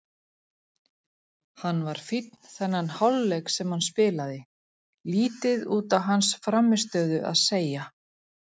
Hann var fínn þennan hálfleik sem hann spilaði, lítið út á hans frammistöðu að segja.